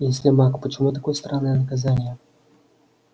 если маг почему такое странное наказание